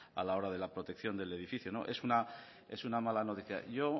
a la hora de la protección del edificio es una mala noticia yo